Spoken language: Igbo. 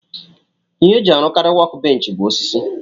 Ihe eji arụkari wọk benchi bu osisi.